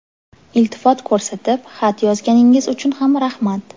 Iltifot ko‘rsatib, xat yozganingiz uchun ham rahmat!